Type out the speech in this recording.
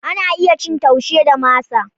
Ana iya cin Taushe da masa.